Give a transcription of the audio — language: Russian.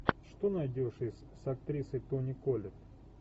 что найдешь из с актрисой тони коллетт